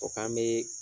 O k'an bɛ